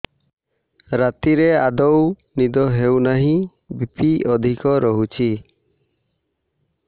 ରାତିରେ ଆଦୌ ନିଦ ହେଉ ନାହିଁ ବି.ପି ଅଧିକ ରହୁଛି